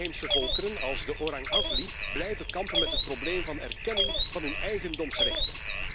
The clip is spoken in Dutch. De inheemse volkeren als de Orang Asli blijven kampen met het probleem van erkenning van hun eigendomsrechten.